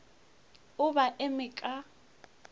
o be a eme ka